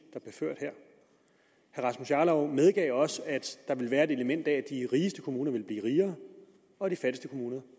der rasmus jarlov medgav også at der vil være et element af at de rigeste kommuner vil blive rigere og at de fattigste kommuner